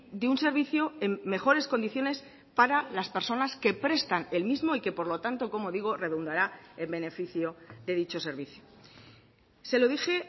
de un servicio en mejores condiciones para las personas que prestan el mismo y que por lo tanto como digo redundara en beneficio de dicho servicio se lo dije